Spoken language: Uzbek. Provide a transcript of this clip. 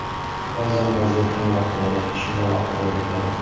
Ba’zan vaziyat qiyinroq bo‘ladi, shunda vaqt talab etiladi.